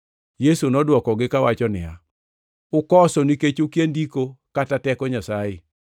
Yesu nodwokogi kawacho niya, “Ukoso nikech ukia Ndiko kata teko Nyasaye.